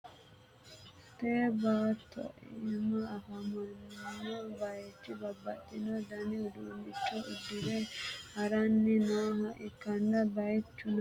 tee baatto iima afamanno bayichi babbaxxino dani uduunnicho uddi're ha'ranni nooha ikkanna, bayichuno kobilisitoonnetenni loonsoonniwa ikkanna, albasiinni hige lowo ijaara loonsoonniwa hattono, muleenni qorqqorote huxxi no.